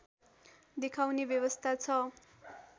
देखाउने व्यवस्था छ